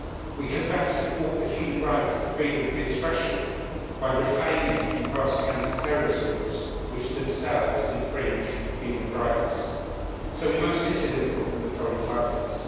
We can best support the human right of freedom of expression by refraining from passing anti terrorism laws which themselves infringe human rights. So we must consider the problem of foreign fighters